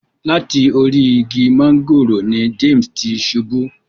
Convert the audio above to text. Lati orí ìgi mángòrò ni James ti ṣubù.